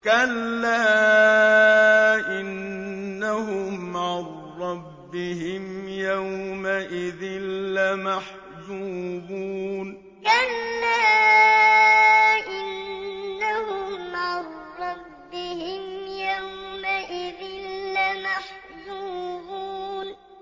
كَلَّا إِنَّهُمْ عَن رَّبِّهِمْ يَوْمَئِذٍ لَّمَحْجُوبُونَ كَلَّا إِنَّهُمْ عَن رَّبِّهِمْ يَوْمَئِذٍ لَّمَحْجُوبُونَ